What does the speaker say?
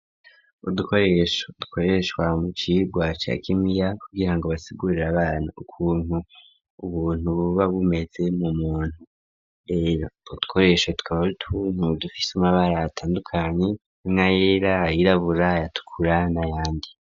Udukoresho dukoreshwa mucirwa ca kimiya kugirango basigurire abana ukuntu ubuntu buba bumeze mu muntu rero utwo dukoresho twari utuntu dufise umabara atandukanye harimwo ayera, ayirabura, ayatukura n'ayandi.